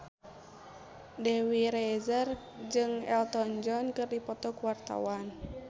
Dewi Rezer jeung Elton John keur dipoto ku wartawan